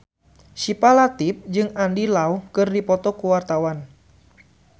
Syifa Latief jeung Andy Lau keur dipoto ku wartawan